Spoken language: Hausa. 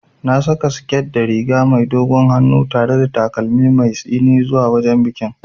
Na saka siket da riga mai dogon hannu tare da takalmin mai tsini zuwa wajen bikin.